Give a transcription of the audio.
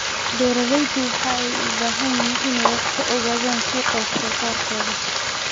Beeraleydu waxa ay u baahan yihiin in ay wax ka ogaadaan suuqa wax soo saarkooda.